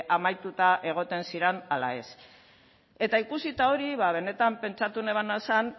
amaituta egoten ziren ala ez eta ikusita hori benetan pentsatu nebana zen